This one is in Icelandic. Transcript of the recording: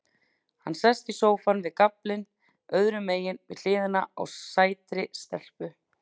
Hann sest í sófann, við gaflinn öðrumegin við hliðina á sætri stelpu.